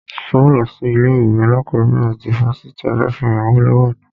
Ṣo lọ sí ilé ìwé alákọ̀bẹ̀rẹ̀ ti fáfitì Obafemi Awolowo ni?